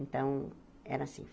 Então, era assim.